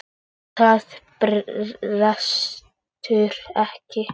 En það brestur ekki.